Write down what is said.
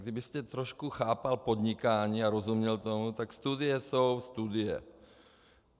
Kdybyste trošku chápal podnikání a rozuměl tomu, tak studie jsou studie.